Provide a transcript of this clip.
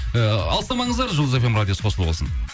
і алыстамаңыздар жұлдыз фм радиосы қосулы болсын